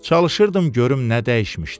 Çalışırdım görüm nə dəyişmişdi.